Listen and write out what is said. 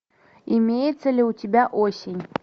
имеется ли у тебя осень